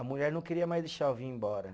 A mulher não queria mais deixar eu vir embora.